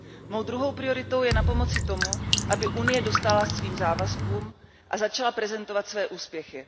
Mou druhou prioritou je napomoci tomu, aby Unie dostála svým závazkům a začala prezentovat své úspěchy.